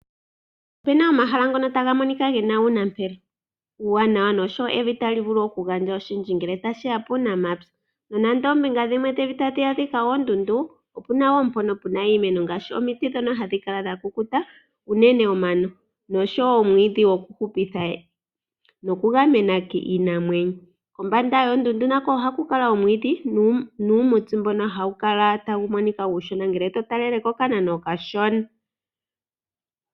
Ope na omahala ngono taga monika ge na uunampelo uuwanawa noshowo evi tali vulu okugandja oshindji ngele tashi ya puunamapya. Nonando oombinga dhimwe dhevi tadhi adhika oondundu, opu na wo mpono pe na iimeno ngaaashi omiti ndhono hadhi kala dha kukuta, unene omano noshowo omwiidhi gokuhupitha nokugamena iinamwenyo. Kombanda yoondundu nako ohaku kala omwiidhi nuumuti mbono hawu kala tawu monika uushona ngele to talele kokanano okashona.